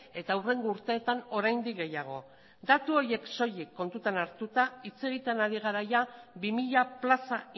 eta hurrengo urteetan oraindik gehiago datu horiek soilik kontutan hartuta hitz egiten ari gara ia bi mila plaza